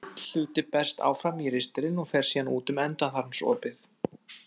Lítill hluti berst áfram í ristilinn og fer síðan út um endaþarmsopið.